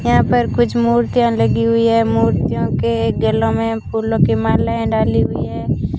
यहां पर कुछ मूर्तियां लगी हुई है मूर्तियों के गलों में फूलों की मालाएं डाली हुई है।